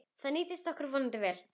Það nýtist okkur vonandi vel.